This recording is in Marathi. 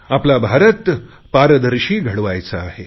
आपला भारत पारदर्शी घडवायचा आहे